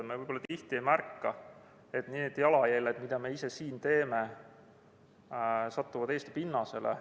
Me võib-olla tihti ei märka, et need jalajäljed, mida me ise siin teeme, satuvad Eesti pinnasele.